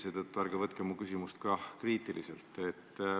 Seetõttu ärge võtke mu küsimust kriitiliselt.